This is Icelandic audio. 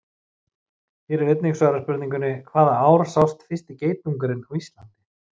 Hér er einnig svarað spurningunni: Hvaða ár sást fyrsti geitungurinn á Íslandi?